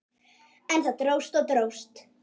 En það dróst og dróst.